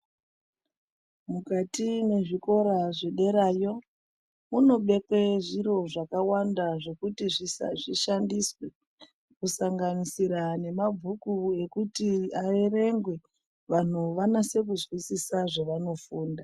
Mukati mwezvikora zvederayo munobekwe zviro zvakawanda zvisa zvekuti zvishandiswe kusanganisira nemabhuku ekuti aerengwe vanhu vanyase kuzwisisa zvevanofunda.